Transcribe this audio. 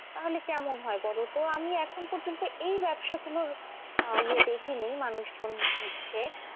তাহলে কেমন হয় বলো তো? আমি এখন পর্যন্ত এই ব্যবসা গুলোর আহ ইয়ে দেখিনি মানুষজন নিচ্ছে।